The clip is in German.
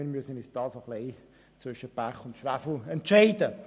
Wir müssen uns folglich zwischen Pest und Cholera entscheiden.